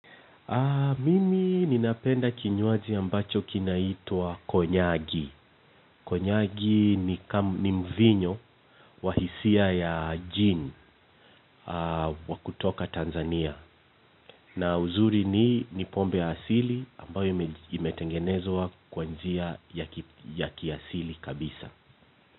Mimi ninapenda kinywaji ambacho kinaitwa konyagi. Konyagi ni mvinyo wahisia ya gin wa kutoka Tanzania. Na uzuri ni ni pombe ya asili ambayo imetengenezwa kwa njia ya kiasili kabisa.